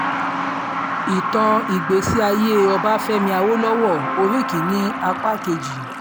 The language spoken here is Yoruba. ìtàn ìgbésí ayé ọbáfẹ́mi àwòlọ́wọ́ orí kín-ín-ní apá kejì